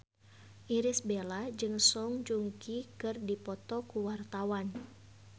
Irish Bella jeung Song Joong Ki keur dipoto ku wartawan